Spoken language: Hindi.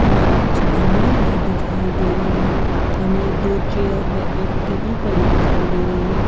हमें कुछ गमले भी दिखाई दे रहे हैं हमें दो चेयर व एक टेबल पड़ी दिखाई दे रही है।